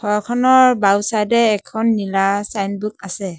ঘৰখনৰ বাওঁ চাইড এ এখন নীলা ছাইনবোৰ্ড আছে।